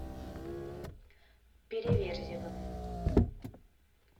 переверзевым